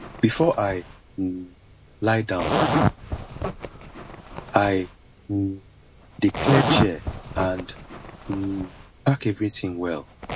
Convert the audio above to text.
before i um lie down i um dey clear chair and um pack everything well